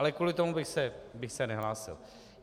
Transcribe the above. Ale kvůli tomu bych se nehlásil.